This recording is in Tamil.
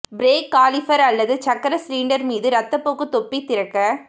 பிரேக் காலிபர் அல்லது சக்கர சிலிண்டர் மீது இரத்தப்போக்கு தொப்பி திறக்க